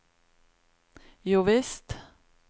jovisst